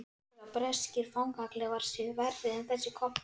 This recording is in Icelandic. Heldurðu að breskir fangaklefar séu verri en þessi kompa?